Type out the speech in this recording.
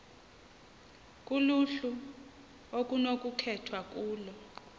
kuluhlu okunokukhethwa kulo